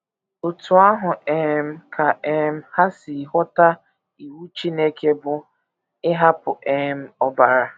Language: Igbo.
Otú ahụ um ka um ha si ghọta iwu Chineke bụ́ ‘ ịhapụ um ọbara. ’